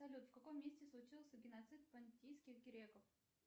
салют в каком месте случился геноцид понтийских греков